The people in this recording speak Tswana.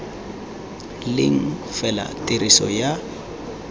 leng fela ya tiriso ya